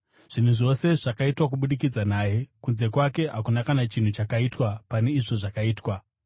Zvinhu zvose zvakaitwa kubudikidza naye; kunze kwake hakuna kana chinhu chakaitwa pane izvo zvakaitwa.